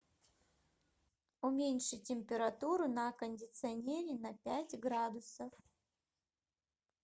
уменьши температуру на кондиционере на пять градусов